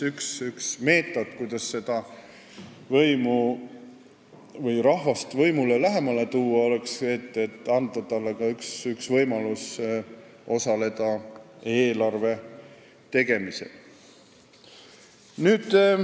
Üks meetod, kuidas rahvast võimule lähemale tuua, oleks anda talle võimalus osaleda eelarve tegemisel.